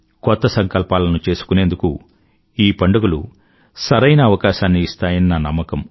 కొత్త సంకల్పాలను చేసుకునేందుకు ఈ పండుగలు సరైన అవకాశాన్ని ఇస్తాయని నా నమ్మకం